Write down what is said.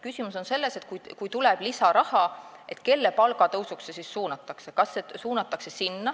Küsimus on selles, et kui tuleb lisaraha, siis kelle palga tõusuks see suunatakse.